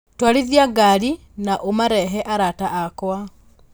twarithia ngari na ũmarehe arata akwa